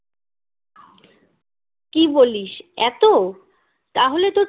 কি বলিস এত তাহলে তো